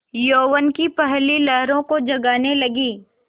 यौवन की पहली लहरों को जगाने लगी